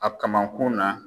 A kamakun na.